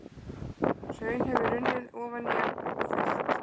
Hraun hefur runnið ofan í hann og fyllt.